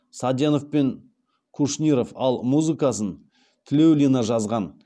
саденов пен кушниров ал музыкасын тлеулина жазған